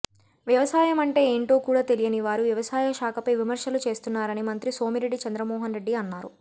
వ్యవసాయం అంటే ఏంటో కూడా తెలియనివారు వ్యవసాయ శాఖపై విమర్శలు చేస్తున్నారని మంత్రి సోమిరెడ్డి చంద్రమోహన్ రెడ్డి అన్నారు